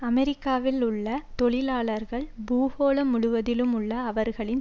அமெரிக்காவில் உள்ள தொழிலாளர்கள் பூகோளம் முழுவதிலும் உள்ள அவர்களின்